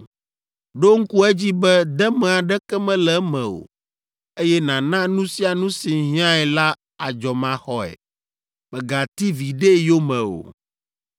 Ɖo ŋku edzi be deme aɖeke mele eme o, eye nàna nu sia nu si hiãe la adzɔmaxɔe. Mègati viɖe yome o.